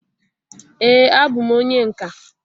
ee a bụ m onye nka